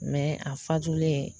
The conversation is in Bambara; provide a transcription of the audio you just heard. a fatulen.